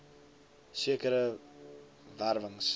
sekere wer wings